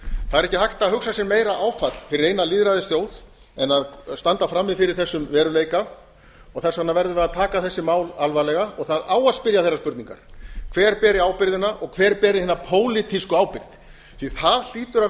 það er ekki hægt að hugsa sér meira áfall fyrir eina lýðræðisþjóð en að standa frammi fyrir þessum veruleika þess vegna verðum við að taka þessi mál alvarlega og það á að spyrja þeirra spurninga hver beri ábyrgðina og hver beri hina pólitísku ábyrgð því það hlýtur að